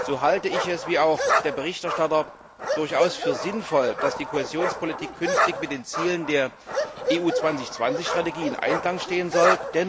So halte ich es wie auch der Berichterstatter durchaus für sinnvoll, dass die Kohäsionspolitik künftig mit den Zielen der EU 2020 Strategie in Einklang stehen soll.